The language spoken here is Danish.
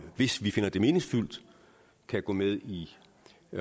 hvis vi finder det meningsfyldt kan gå med i